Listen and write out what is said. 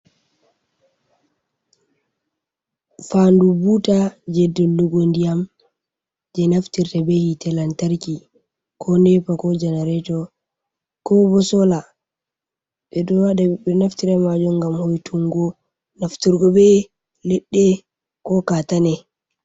Fandu buuta jei dullugo ndiyam, jei naftirta be hiite lantarki ko nepa ko janareto ko bo soola, ɓe ɗo naftira be maajun ngam hoitungo nafturgo be leɗɗe ko kaatane.